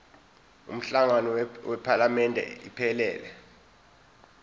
umhlangano wephalamende iphelele